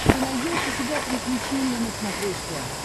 ты найдешь у себя приключения на смотрешке